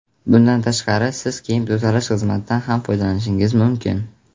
Bundan tashqari siz kiyim tozalash xizmatidan ham foydalanishingiz mumkin.